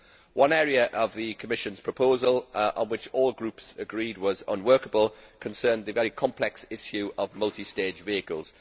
One area of the Commission's proposal which all groups agreed was unworkable concerned the very complex issue of multi stage vehicles.